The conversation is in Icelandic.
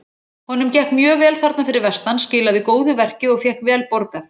Honum gekk mjög vel þarna fyrir vestan- skilaði góðu verki og fékk vel borgað.